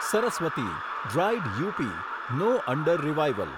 Saraswati dried up, no under revival